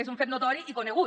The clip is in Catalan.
és un fet notori i conegut